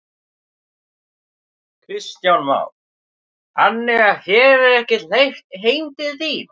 Kristján Már: Þannig að þér er ekkert hleypt heim til þín?